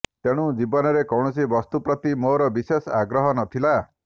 ତେଣୁ ଜୀବନରେ କୌଣସି ବସ୍ତୁ ପ୍ରତି ମୋର ବିଶେଷ ଆଗ୍ରହ ନଥିଲା